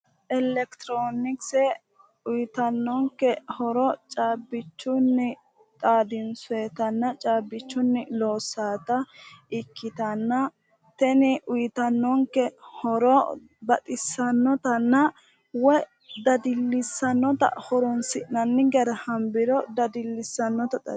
Ekecitiroonikise uyitannonike horo caabbichunni xaadinisoyitanna caabbichunni loosaata ikkitanna tini uyitannonike horo baxisanotanna woyi dadillisannota horonisi'nani gara hanibbiro dadillisannota xawisanno